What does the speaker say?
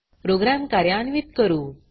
programme कार्यान्वीत करू